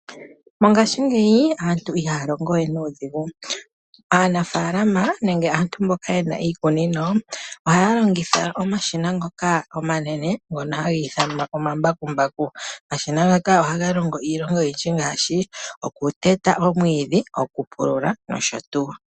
Mongashingeyi aantu ihaya longo we nuudhigu. Aanafaalama nenge aantu mboka ye na iikunino ohaya longitha omashina ngoka omanene ngono ha ga ithanwa omambakumbaku. Omashina ngaka ohaga longo iilonga oyindji ngaashi okuteta omwiidhi , okupulula nosho tuu.